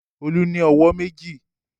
Olú ní ọwọ́ méjì.